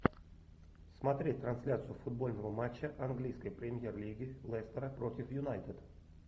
смотреть трансляцию футбольного матча английской премьер лиги лестера против юнайтед